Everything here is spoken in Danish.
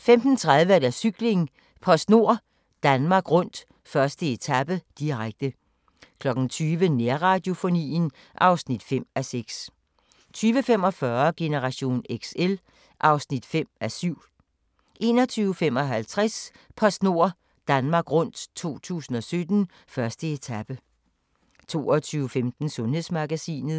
15:30: Cykling: PostNord Danmark Rundt - 1. etape, direkte 20:00: Nærradiofonien (5:6) 20:45: Generation XL (5:7) 21:55: PostNord Danmark rundt 2017: 1. etape 22:15: Sundhedsmagasinet